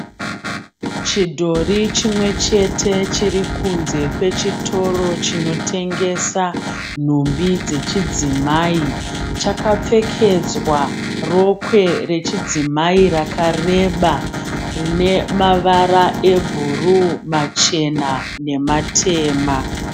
Chidhori chimwe chete chiri kunze kwechitoro chinotengesa nhumbi dzechidzimai. Chakapfekedzwa rokwe rechidzamai rakareba rine mavara ebhuru, machena nematema.